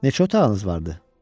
Neçə otağınız vardı?